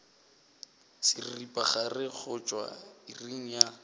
seripagare go tšwa iring ya